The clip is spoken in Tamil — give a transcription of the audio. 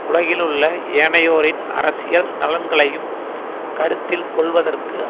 உலகிலுள்ள ஏனையோரின் அரசியல் நலன்களையும் கருத்தில் கொள்வதற்கு